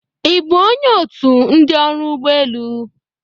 Ị bụ onye otu ndị ọrụ ụgbọ elu?